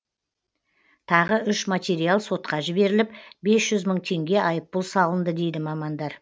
тағы үш материал сотқа жіберіліп бес жүз мың теңге айыппұл салынды дейді мамандар